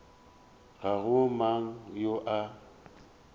ga go mang yo a